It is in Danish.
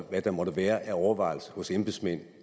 hvad der måtte være af overvejelser hos embedsmænd